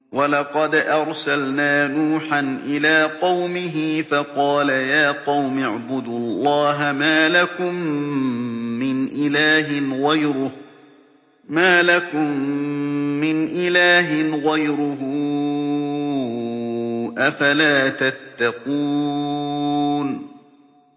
وَلَقَدْ أَرْسَلْنَا نُوحًا إِلَىٰ قَوْمِهِ فَقَالَ يَا قَوْمِ اعْبُدُوا اللَّهَ مَا لَكُم مِّنْ إِلَٰهٍ غَيْرُهُ ۖ أَفَلَا تَتَّقُونَ